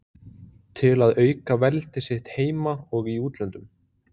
til að auka veldi sitt heima og í útlöndum.